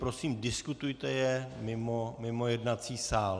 Prosím, diskutujte je mimo jednací sál.